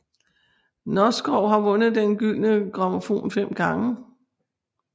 Noskov har vundet Den gyldne grammofon fem gange